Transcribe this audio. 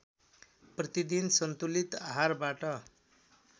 प्रतिदिन सन्तुलित आहारबाट